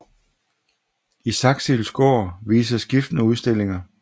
I Saxilds Gaard vises skiftende udstillinger